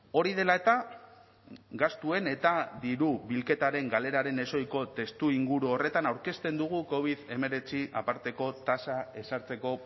hori dela eta gastuen eta diru bilketaren galeraren ezohiko testuinguru horretan aurkezten dugu covid hemeretzi aparteko tasa ezartzeko